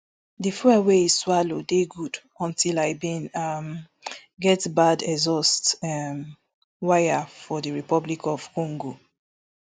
di fuel wey e swallow dey good until i bin um get bad exhaust um wire for di republic of congo